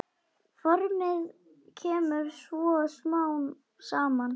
Formið kemur svo smám saman.